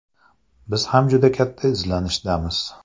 Biz ham juda katta izlanishdamiz.